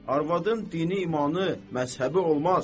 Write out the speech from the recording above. Arvadın dini, imanı, məzhəbi olmaz.